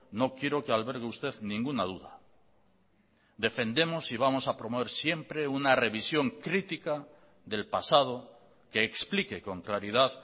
no quiero que albergue usted ninguna duda defendemos y vamos a promover siempre una revisión crítica del pasado que explique con claridad